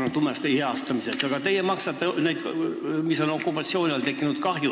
hüvitamiseks, aga teie maksate sellega kinni okupatsiooniajal tekitatud kahju.